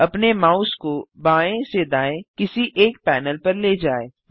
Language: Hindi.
अपने माउस को बाएँ से दाएँ किसी एक पैनल पर ले जाएँ